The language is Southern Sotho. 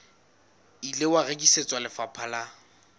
ile wa rekisetswa lefapha la